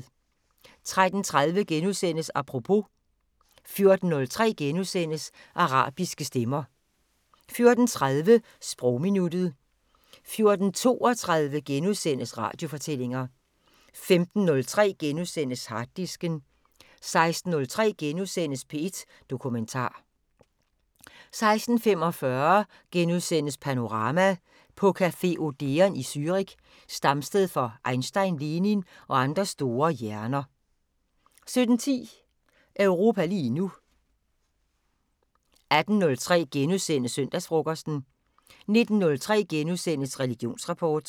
13:30: Apropos * 14:03: Arabiske stemmer * 14:30: Sprogminuttet 14:32: Radiofortællinger * 15:03: Harddisken * 16:03: P1 Dokumentar * 16:45: Panorama: På café Odeon i Zürich, stamsted for Einstein, Lenin og andre store hjerner * 17:10: Europa lige nu 18:03: Søndagsfrokosten * 19:03: Religionsrapport *